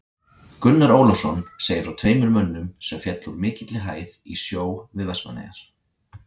Gunnar Ólafsson segir frá tveimur mönnum sem féllu úr mikilli hæð í sjó við Vestmannaeyjar.